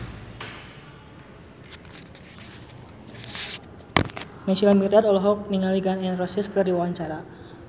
Naysila Mirdad olohok ningali Gun N Roses keur diwawancara